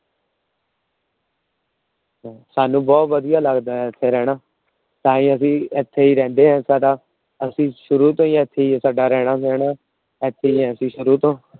ਸਾਂਨੂੰ ਬਹੁਤ ਵਧੀਆ ਲੱਗਦਾ ਇੱਥੇ ਰਹਿਣਾ। ਤਾਹੀਓਂ ਅਸੀਂ ਇੱਥੇ ਰਹਿੰਦੇ ਆ। ਸਾਡਾ ਅਸੀਂ ਸ਼ੁਰੂ ਤੋਂ ਈ ਇੱਥੇ ਈ ਆ। ਸਾਡਾ ਰਹਿਣਾ ਬਹਿਣਾ ਇੱਥੇ ਈ ਆ ਸ਼ੁਰੂ ਤੋਂ